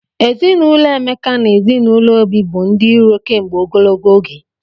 Ezinụlọ Emeka na ezinụlọ Obi bụ ndị iro kemgbe ogologo oge.